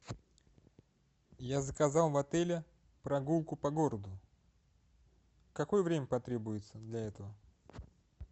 я заказал в отеле прогулку по городу какое время потребуется для этого